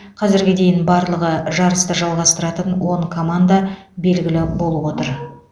қазірге дейін барлығы жарысты жалғастыратын он команда белгілі болып отыр